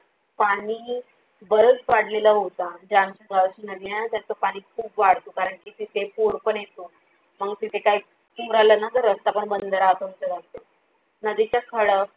पाणी बरच वाढलेला होता जे आमच्या गावाची नदी आहे न त्याच पाणी खूपच वाढतो कारण की तिथे पूर पण येतो मंग तिथे काही पूर आला न कि रास्ता पण बंद राहतो आमच्या गावचा. नदीच्या खळ